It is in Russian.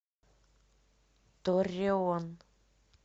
торреон